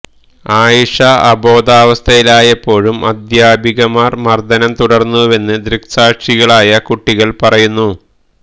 ആയിഷ അബോധാവസ്ഥയിലായപ്പോഴും അധ്യാപികമാര് മര്ദനം തുടര്ന്നുവെന്ന് ദൃക്സാക്ഷികളായ കുട്ടികള് പറയുന്നു